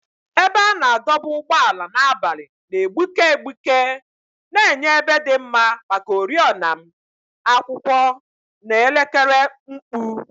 Ebe a na-adọba ụgbọala n'abalị na-egbuke egbuke, na-enye ebe dị mma maka oriọna m, akwụkwọ, na elekere mkpu.